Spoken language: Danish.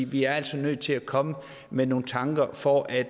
vi er altså nødt til at komme med nogle tanker for at